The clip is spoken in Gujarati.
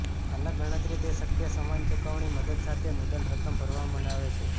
અલગ ગણતરી તે શક્ય સમાન ચૂકવણી મદદ સાથે મુદ્દલ રકમ ભરવામાં બનાવે છે